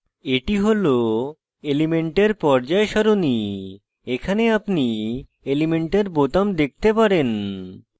এটি হল elements পর্যায় সারণী এখানে আপনি elements বোতাম দেখতে পারেন